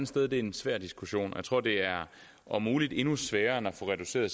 sted det er en svær diskussion og jeg tror det er om muligt endnu sværere end at få reduceret